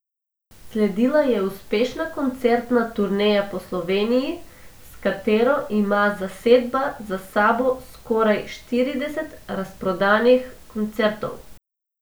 Sledila je uspešna koncertna turneja po Sloveniji, s katero ima zasedba za sabo skoraj štirideset razprodanih koncertov.